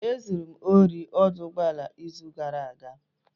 E zuru m ohi n'ọdụ ụgbọala n'izu gara aga.